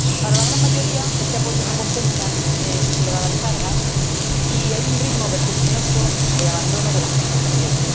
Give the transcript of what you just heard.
Para la gran mayoría, este apoyo no compensa esas elevadas cargas, y hay un ritmo vertiginoso de abandono de las explotaciones.